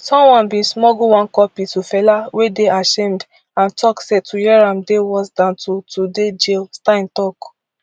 someone bin smuggle one copy to fela wey dey ashamed and tok say to hear am dey worse dan to to dey jail stein tok